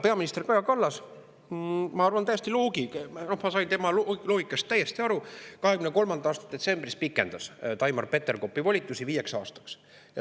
Peaminister Kaja Kallas – ma sain tema loogikast täiesti aru – 2023. aasta detsembris pikendas Taimar Peterkopi volitusi viieks aastaks.